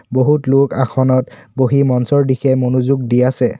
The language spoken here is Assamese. বহুত লোক আসনত বহি মঞ্চৰ দিশে মনোযোগ দি আছে।